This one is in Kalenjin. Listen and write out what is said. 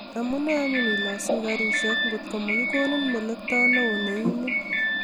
Amune anyun ilosu garisiek ngotko makikonin melekto neo neimin